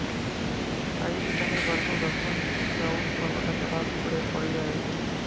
काही ठिकाणी बर्फ घसरून जावून पर्वताचे भाग उघडे पडले आहेत.